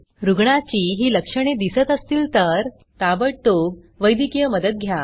रुग्णाची ही लक्षणे दिसत असतील तर ताबडतोब वैद्यकीय मदत घ्या